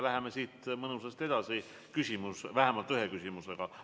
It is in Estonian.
Läheme siit mõnusasti edasi, vähemalt üks küsimus on veel.